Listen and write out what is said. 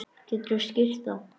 Geturðu skýrt það?